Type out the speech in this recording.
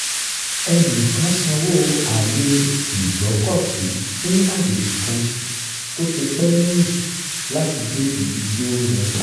ẹnì kan sanwó àyè ìgbọ́kọ̀sí fún àjèjì kan tó ti pẹ́ lẹ́yìn láti dé ibi tí ó ń lọ